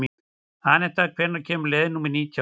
Anetta, hvenær kemur leið númer nítján?